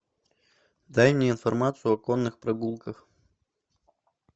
дай мне информацию о конных прогулках